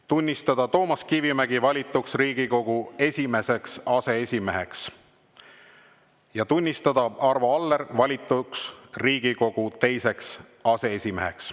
Tunnistada Toomas Kivimägi valituks Riigikogu esimeseks aseesimeheks ja tunnistada Arvo Aller valituks Riigikogu teiseks aseesimeheks.